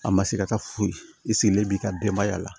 A ma se ka taa foyi i sigilen b'i ka denbaya la